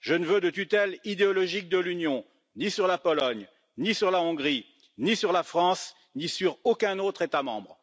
Je ne veux de tutelle idéologique de l'Union, ni sur la Pologne, ni sur la Hongrie, ni sur la France, ni sur aucun autre État membre.